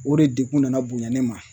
O de degun nana bonya ne ma